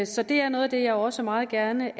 så det er noget af det jeg også meget gerne